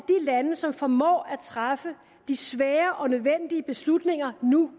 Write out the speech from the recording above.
lande som formår at træffe de svære og nødvendige beslutninger nu